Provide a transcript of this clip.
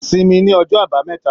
Sinmi ní ọjọ àbámẹ́ta!